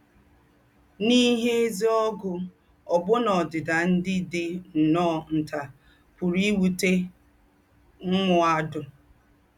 N’íhé èzí ógù, òbù̀nà ódìdà ndí́ dí nnọ́ọ́ ntà pùrù íwùté m̀mùàdù.